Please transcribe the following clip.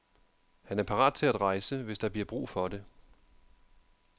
Han er parat til at rejse, hvis der bliver brug for det.